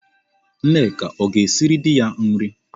Nneka ọ ga-esiri di ya nri?